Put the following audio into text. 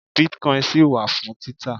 bitcoin ṣì wà fún títà